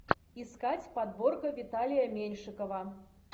искать подборка виталия меньшикова